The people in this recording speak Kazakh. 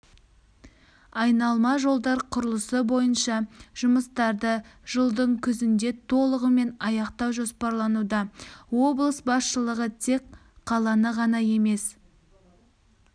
айналма жолдар құрылысы бойынша жұмыстарды жылдың күзінде толығымен аяқтау жоспарлануда облыс басшылығы тек қаланы ғана емес